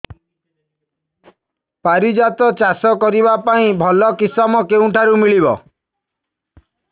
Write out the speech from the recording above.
ପାରିଜାତ ଚାଷ କରିବା ପାଇଁ ଭଲ କିଶମ କେଉଁଠାରୁ ମିଳିବ